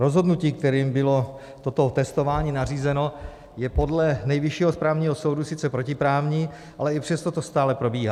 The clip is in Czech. Rozhodnutí, kterým bylo toto testování nařízeno, je podle Nejvyššího správního soudu sice protiprávní, ale i přesto to stále probíhá.